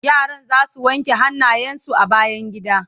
yaran zasu wanke hannayen su a bayangida